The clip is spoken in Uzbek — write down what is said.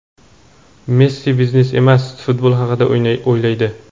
Messi biznes emas, futbol haqida o‘ylaydi.